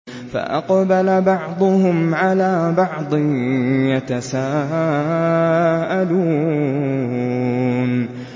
فَأَقْبَلَ بَعْضُهُمْ عَلَىٰ بَعْضٍ يَتَسَاءَلُونَ